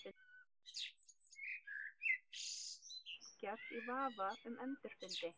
Það er mátulegt á hana að fá að velkjast í vafa um endurfundi.